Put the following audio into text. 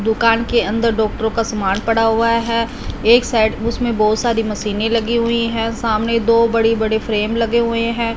दुकान के अंदर डॉक्टरों का सामान पड़ा हुआ है एक साइड उसमें बहुत सारी मशीनें लगी हुई हैं सामने दो बड़ी बड़े फ्रेम लगे हुए हैं।